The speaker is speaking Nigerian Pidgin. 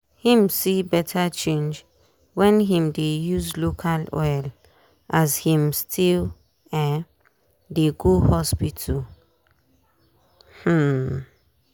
him see better change wen him dey use local oil as him still um dey go hospital. um